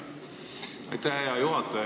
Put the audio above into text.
Aitäh, hea juhataja!